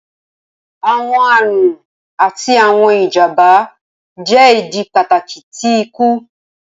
Awọn arun ati awọn ijamba jẹ idi pataki ti iku.